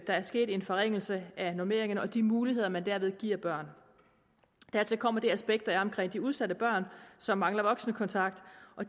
er sket en forringelse af normeringerne og de muligheder man derved giver børn dertil kommer det aspekt der er omkring de udsatte børn som mangler voksenkontakt